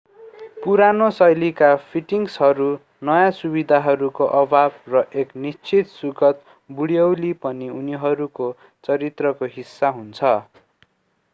पुरानो शैलीका फिटिङहरू नयाँ सुविधाहरूको अभाव र एक निश्चित सुखद बुढ्यौली पनि उनीहरूको चरित्रको हिस्सा हुन्